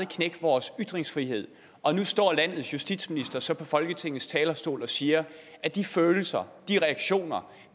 knække vores ytringsfrihed og nu står landets justitsminister så på folketingets talerstol og siger at de følelser og de reaktioner